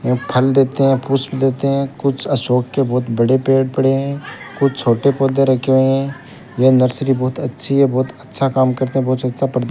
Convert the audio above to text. यहां फल देते हैं पुष्प लेते हैं कुछ अशोक के बहुत बड़े पेड़ पड़े हैं कुछ छोटे पौधे रखे हुए हैं यह नर्सरी बहुत अच्छी है बहुत अच्छा काम करते हैं बहुत अच्छा --